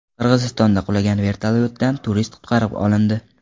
Qirg‘izistonda qulagan vertolyotdan turist qutqarib olindi .